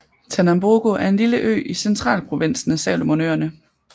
Tanambogo er en lille ø i centralprovinsen af Salomonøerne